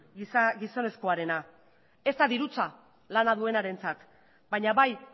gizonezkoarena ez da dirutza lana duenarentzat baina bai